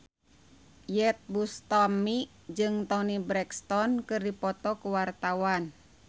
Iyeth Bustami jeung Toni Brexton keur dipoto ku wartawan